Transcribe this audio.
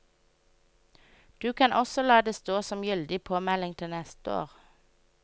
Du kan også la det stå som gyldig påmelding til neste år.